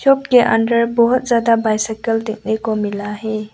के अंदर बहोत ज्यादा बाइसिकल देखने को मिला है।